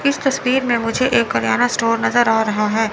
इस तस्वीर में मुझे एक करयाना स्टोर नजर आ रहा है।